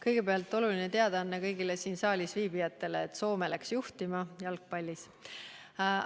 Kõigepealt oluline teadaanne kõigile siin saalis viibijatele: Soome läks jalgpallis juhtima.